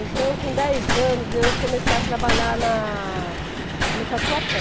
Então com dez anos eu comecei a trabalhar na no Tatuapé.